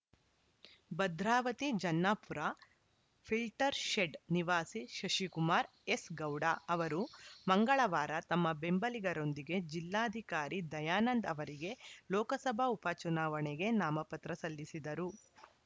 ಭದ್ರಾವತಿ ಜನ್ನಾಪುರ ಫಿಲ್ಟರ್‌ಶೆಡ್‌ ನಿವಾಸಿ ಶಶಿಕುಮಾರ್‌ ಎಸ್‌ಗೌಡ ಅವರು ಮಂಗಳವಾರ ತಮ್ಮ ಬೆಂಬಲಿಗರೊಂದಿಗೆ ಜಿಲ್ಲಾಧಿಕಾರಿ ದಯಾನಂದ್‌ ಅವರಿಗೆ ಲೋಕಸಭಾ ಉಪಚುನಾವಣೆಗೆ ನಾಮಪತ್ರ ಸಲ್ಲಿಸಿದರು